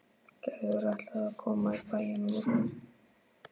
Gerður ætlaði að koma í bæinn á morgun.